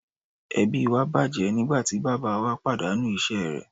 Ẹbí wa bàjẹ́ nígbà tí bàbáa wa pàdánù iṣẹ́ rẹ̀.